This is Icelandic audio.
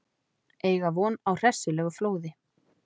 Eiga von á hressilegu flóði